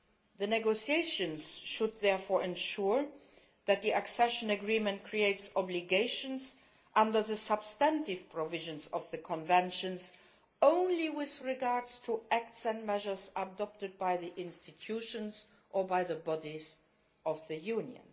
The negotiations should therefore ensure that the accession agreement creates obligations under the substantive provisions of the Conventions only with regard to acts and measures adopted by the institutions or by the bodies of the Union.